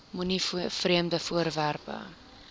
moenie vreemde voorwerpe